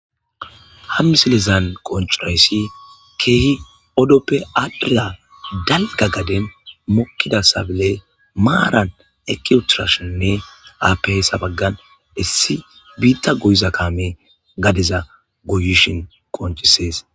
hammisilezan qonchirayssi keehi odoppe adla dalga gaden mokkida sabile maaran ekiyotirashinne aapeesa baggan dhissi biitta goyiza kaame gadeza goyishin konchisees